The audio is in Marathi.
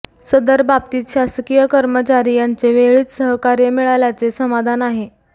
सदर बाबतीत शासकीय कर्मचारी यांचे वेळीच सहकार्य मिळाल्याचे समाधान आहे